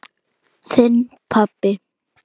Þinn, pabbi.